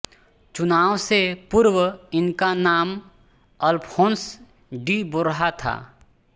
चुनाव से पूर्व इनका नाम अल्फोंस डी बोर्हा था